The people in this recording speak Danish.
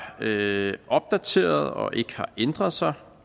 opdaterede og ikke har ændret sig